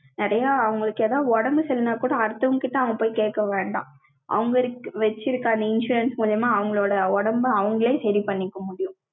நிறைய, அவங்களுக்கு, ஏதாவது, உடம்பு சரி இல்லன்னா கூட, அடுத்தவங்ககிட்ட, அவங்க போய், கேட்க வேண்டாம். அவங்க வச்சிருக்க, அந்த insurance மூலியமா, அவங்களோட உடம்பு, அவங்களே, சரி பண்ணிக்க முடியும்